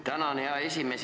Tänan, hea esimees!